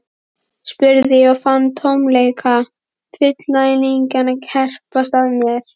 spurði ég og fann tómleika fullnægingarinnar herpast að mér.